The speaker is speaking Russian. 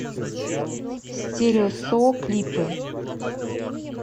стерео со клипы